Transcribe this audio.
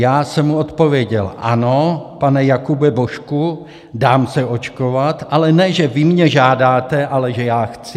- Já jsem mu odpověděl: Ano, pane Jakube Božku, dám se očkovat, ale ne že vy mě žádáte, ale že já chci.